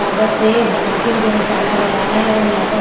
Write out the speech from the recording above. कागज़ से बना के जो है टांगा गया है और यहाँ पर--